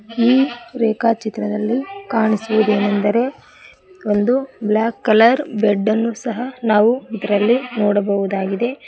ಈ ರೇಖಾ ಚಿತ್ರದಲ್ಲಿ ಕಾಣಿಸುವುದೇನೆಂದರೆ ಒಂದು ಬ್ಲಾಕ್ ಕಲರ್ ಬೆಡ್ ಅನ್ನು ಸಹ ನಾವು ಇದರಲ್ಲಿ ನೋಡಬಹುದಾಗಿದೆ.